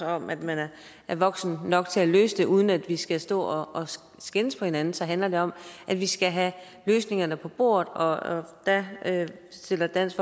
om at man er voksen nok til at løse det uden at vi skal stå og skændes med hinanden så handler det om at vi skal have løsningerne på bordet og der stiller dansk